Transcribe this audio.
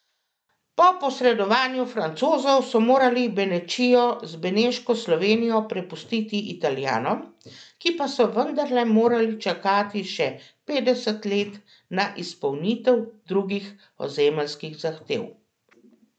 Po posredovanju Francozov so morali Benečijo z Beneško Slovenijo prepustiti Italijanom, ki pa so vendarle morali čakati še petdeset let na izpolnitev drugih ozemeljskih zahtev.